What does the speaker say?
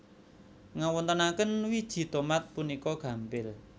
Ngawontenaken wiji tomat puniku gampil